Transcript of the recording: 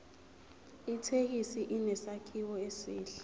ithekisi inesakhiwo esihle